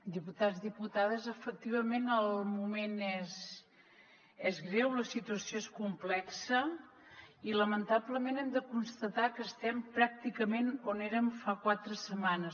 diputats diputades efectivament el moment és greu la situació és complexa i lamentablement hem de constatar que estem pràcticament on érem fa quatre setmanes